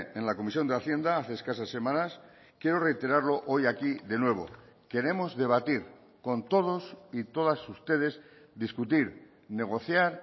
en la comisión de hacienda hace escasas semanas quiero reiterarlo hoy aquí de nuevo queremos debatir con todos y todas ustedes discutir negociar